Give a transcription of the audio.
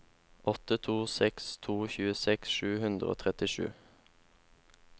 åtte to seks to tjueseks sju hundre og trettisju